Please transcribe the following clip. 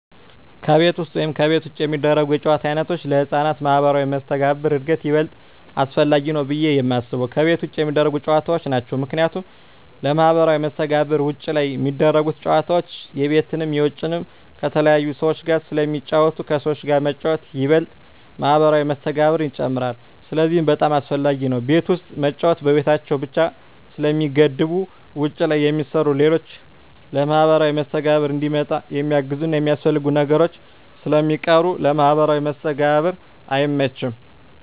ከቤት ውስጥ ወይም ከቤት ውጭ የሚደረጉ የጨዋታ ዓይነቶች ለሕፃናት ማኅበራዊ መስተጋብር እድገት ይበልጥ አስፈላጊው ብየ የማስበው ከቤት ውጭ የሚደረጉ ጨዎታዎች ናቸው ምክንያቱም ለማህበራዊ መስተጋብር ውጭ ላይ ሚደረጉት ጨወታዎች የቤትንም የውጭንም ከተለያዩ ሰዎች ጋር ስለሚጫወቱ ከሰዎች ጋር መጫወት ይበልጥ ማህበራዊ መስተጋብርን ይጨምራል ስለዚህ በጣም አሰፈላጊ ነው ቤት ውስጥ መጫወት በቤታቸው ብቻ ስለሚገደቡ ውጭ ላይ የሚሰሩ ሌሎች ለማህበራዊ መስተጋብር እንዲመጣ የሚያግዙና የሚያስፈልጉ ነገሮች ስለሚቀሩ ለማህበራዊ መስተጋብር አይመችም።